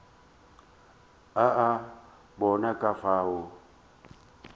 o a bona ka fao